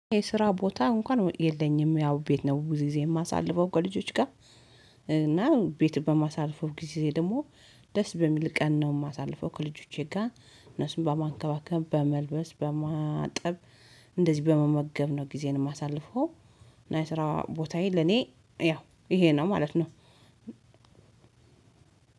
የስራ ቦታ እንኳን የለኝም ያው ቤት ነው ብዙ ጊዜ የማሳልፈው ከልጆች ጋር። እና ቤት በማሳልፈው ጊዜ ደግሞ ደስ በሚል ቀን ነው የማሳልፈው ከልጆቼ ጋር። እነሱን በማንከባከብ በመልበስ በማጠብ እንደዚህ በመመገብ ነው ጊዜን የማሳልፈው። እና የስራ ቦታዬ ለኔ ያው ይሄ ነው ማለት ነው።